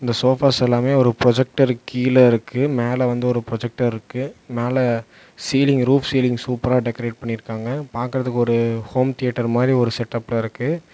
Sofas எல்லாமே ஒரு புரொஜெக்டருக்கு கீழ இருக்கு மேல வந்து ஒரு புரொஜெக்டர் இருக்கு மேல சீலிங் ரூஃப் சீலிங் சூப்பரா டெக்கரேட் பண்ணிருக்காங்க பாக்கறதுக்கு ஒரு ஹோம் தியேட்டர் மாரி ஒரு செட்டப்ல இருக்கு.